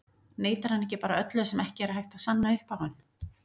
Neitar hann ekki bara öllu sem ekki er hægt að sanna upp á hann?